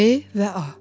B və A.